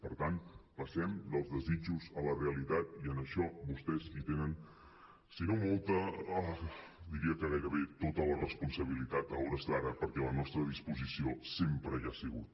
per tant passem dels desitjos a la realitat i en això vostès hi tenen si no mol·ta diria que gairebé tota la responsabilitat a hores d’ara perquè la nostra disposició sempre hi ha sigut